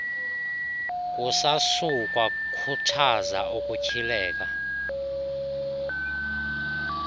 kusasukwa khuthaza ukutyhileka